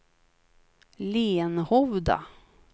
Lenhovda